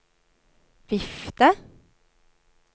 vifte